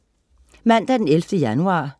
Mandag den 11. januar